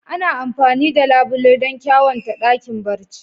Ana amfani da labule don ƙyawanta ɗakin barci.